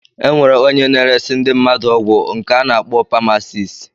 Enwere ónyé na-eresi ndị mmadụ ọgwụ nke ana akpọ pamasist.